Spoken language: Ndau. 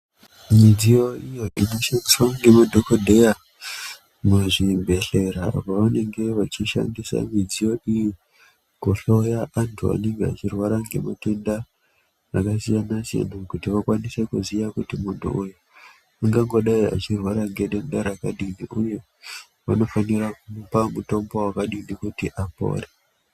Midsiyo iyo inoshandiswa ngemadhokodheya muzvibhedhleya pavanenga vachidhandisa midziyo iyi kuhloya antu anenge echirwara ngematenda akasiyana siyana kuti akwanise kuziya kuti muntu uy ungangodai achirwara ngedenda rakadini uye vanofanira kupa mutombo wakadini kuti apore.